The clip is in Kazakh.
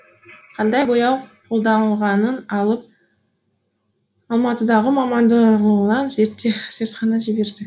қандай бояу қолданылғанын алып алматыдағы мамандандырылған зертханаға жібердік